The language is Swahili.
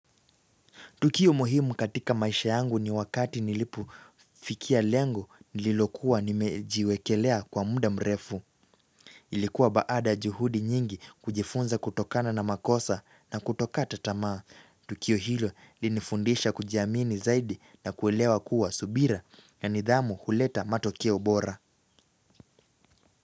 Tukio muhimu katika maisha yangu ni wakati nilipofikia lengo nililokuwa nimejiwekelea kwa muda mrefu. Ilikuwa baada juhudi nyingi kujifunza kutokana na makosa na kutokata tamaa. Tukio hilo linifundisha kujiamini zaidi na kuelewa kuwa subira na nidhamu huleta matokio bora.